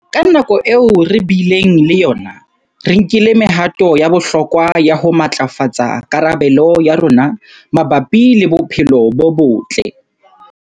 Ka nako eo re bileng le yona, re nkile mehato ya bohlokwa ya ho matlafatsa karabelo ya rona mabapi le bophelo bo botle.